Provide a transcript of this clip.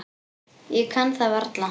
Ég kann það varla.